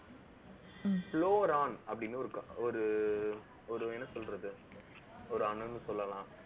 அப்படின்னு ஒரு, ஒரு, ஒரு, என்ன சொல்றது ஒரு அணுன்னு சொல்லலாம்